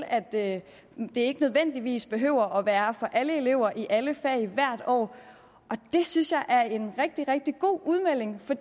at det ikke nødvendigvis behøver at være for alle elever i alle fag hvert år og det synes jeg er en rigtig rigtig god udmelding for